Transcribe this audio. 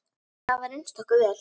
Þau hafa reynst okkur vel.